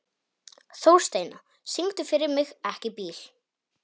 Þórsteina, syngdu fyrir mig „Ekki bíl“.